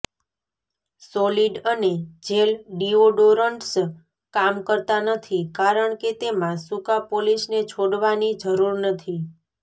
solid અને gel deodorants કામ કરતા નથી કારણ કે તેમાં સૂકા પોલિશને છોડવાની જરૂર નથી